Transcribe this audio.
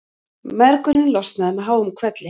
Mergurinn losnaði með háum hvelli.